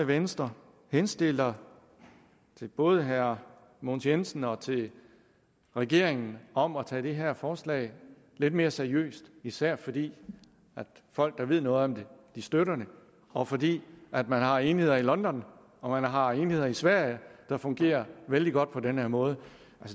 venstre henstiller til både herre mogens jensen og til regeringen om at tage det her forslag lidt mere seriøst især fordi folk der ved noget om det støtter det og fordi man har enheder i london og man har enheder i sverige der fungerer vældig godt på den her måde